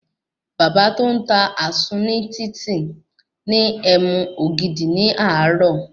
Bàbá tó n ta àsun ní títì ní ẹmu ògidì ní àárò